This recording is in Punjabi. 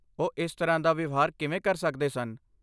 ਉਹ ਇਸ ਤਰ੍ਹਾਂ ਦਾ ਵਿਵਹਾਰ ਕਿਵੇਂ ਕਰ ਸਕਦੇ ਸਨ?